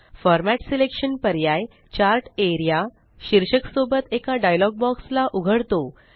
format selection पर्याय chart AREA शीर्षक सोबत एका डायलॉग बॉक्स ला उघडतो